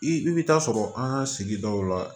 I i bɛ taa sɔrɔ an ka sigidaw la